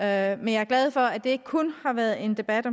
jeg er glad for at det ikke kun har været en debat